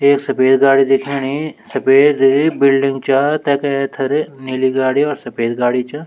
एक सफेद गाड़ी दिखेणि सफेद बिल्डिंग चा तेका एथर नीली गाड़ी और सफेद गाड़ी च।